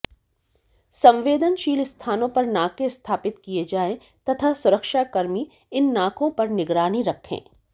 संवेदनशील स्थानों पर नाके स्थापित किए जाए तथा सुरक्षाकर्मी इन नाकों पर निगरानी रखें